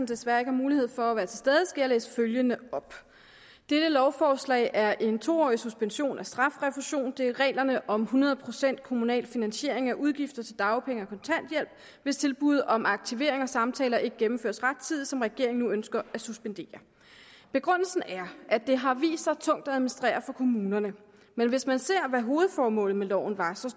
desværre ikke har mulighed for at være til stede skal jeg læse følgende op dette lovforslag er en to årig suspension af strafrefusion det er reglerne om hundrede procent kommunal finansiering af udgifter til dagpenge og kontanthjælp hvis tilbuddet om aktivering og samtaler ikke gennemføres rettidigt som regeringen nu ønsker at suspendere begrundelsen er at det har vist sig tungt at administrere for kommunerne men hvis man ser på hvad hovedformålet med loven var ser